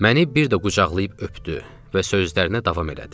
Məni bir də qucaqlayıb öpdü və sözlərinə davam elədi.